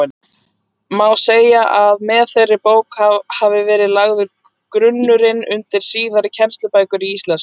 Má segja að með þeirri bók hafi verið lagður grunnurinn undir síðari kennslubækur í íslensku.